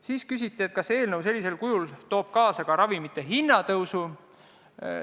Seejärel küsiti, kas praegusel kujul olev eelnõu toob kaasa ka ravimite hinna tõusu.